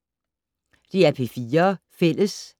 DR P4 Fælles